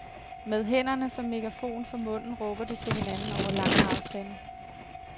Med hænderne som megafon for munden råber de til hinanden over lange afstande.